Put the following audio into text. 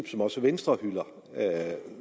som også venstre hylder